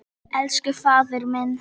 Elsku faðir minn.